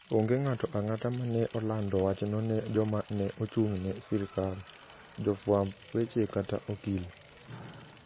Onge ng'ato ang'ata ma ne olando wachno ne joma ne ochung'ne sirkal, jofwamb weche, kata okil.